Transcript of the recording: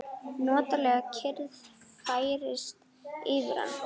Notaleg kyrrð færist yfir hann.